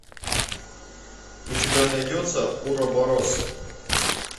у тебя найдется уроборос